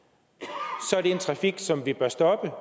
og det en trafik som vi bør stoppe